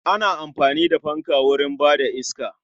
Ana amfani da fanka wurin ba da iska